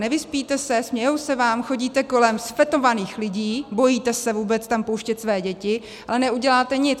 Nevyspíte se, smějí se vám, chodíte kolem zfetovaných lidí, bojíte se vůbec tam pouštět své děti, ale neuděláte nic.